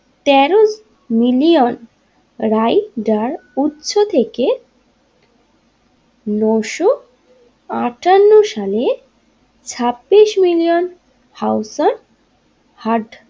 তেরো million rider উচ্চ থেকে নোশ আটান্ন সালে ছাব্বিশ মিলিয়ন হাউজার হার্ট।